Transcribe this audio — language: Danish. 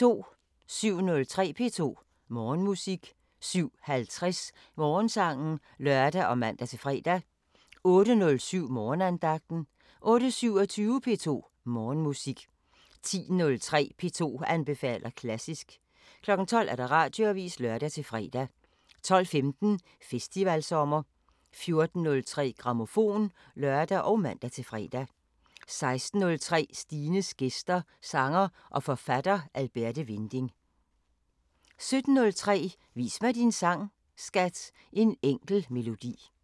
07:03: P2 Morgenmusik 07:50: Morgensangen (lør og man-fre) 08:07: Morgenandagten 08:27: P2 Morgenmusik 10:03: P2 anbefaler klassisk 12:00: Radioavisen (lør-fre) 12:15: Festivalsommer 14:03: Grammofon (lør og man-fre) 16:03: Stines gæster – Sanger og forfatter Alberte Winding 17:03: Vis mig din sang, skat! – En enkel melodi